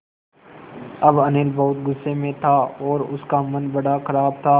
अब अनिल बहुत गु़स्से में था और उसका मन बड़ा ख़राब था